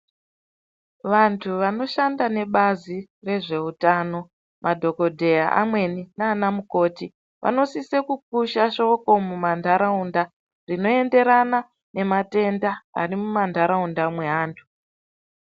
Vantu vanoshanda nebazi rezveutano madhokodheya mamweni naana mukoti vanosisa kupusha shoko mumantaraunda zvinoenderana nematenda arimuntaraunta me vantu.